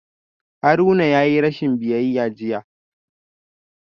Haruna yayi rashin biyayya jiya